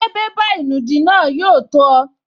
Ṣé bébà ìnùdí náà yóò tó ọ?